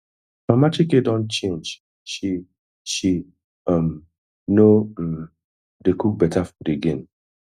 mama chike don change she she um no um dey cook beta food again